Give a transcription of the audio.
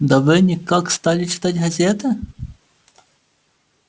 да вы никак стали читать газеты